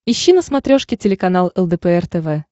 ищи на смотрешке телеканал лдпр тв